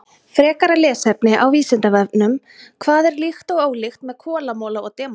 Frekara lesefni á Vísindavefnum: Hvað er líkt og ólíkt með kolamola og demanti?